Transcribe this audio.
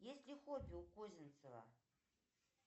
есть ли хобби у козинцева